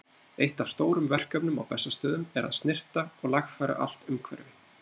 Eitt af stórum verkefnum á Bessastöðum er að snyrta og lagfæra allt umhverfi.